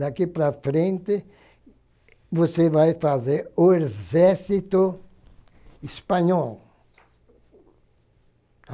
Daqui para frente, você vai fazer o exército espanhol.